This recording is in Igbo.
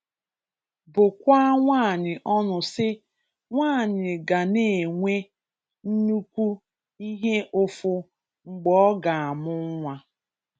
Bụkwaa nwaanyị ọnụ sị, “nwaanyị ga na-enwe nnukwu ihe ụfụ mgbe ọ ga-amụ nwa”.